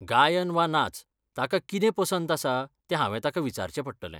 गायन वा नाच, ताका कितें पसंत आसा तें हांवें ताका विचारचें पडटलें.